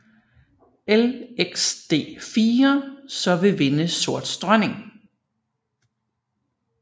Lxd4 så vil vinde sorts dronning